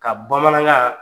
Ka bamanan